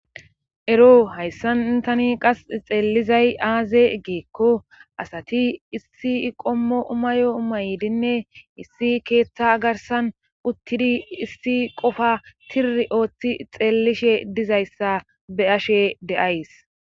Ero hayssantani qas xeellizay aaze geekko asati issi qommo umayo umaydinne issi keeththa garsan uttidi issi qofa tiri ooththi xeellishe dizayssa be ashe de'ays.